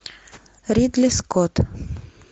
ридли скотт